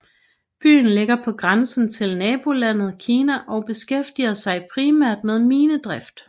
Byen ligger på grænsen til nabolandet Kina og beskæftiger sig primært med minedrift